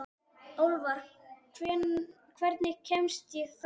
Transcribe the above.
Álfar, hvernig kemst ég þangað?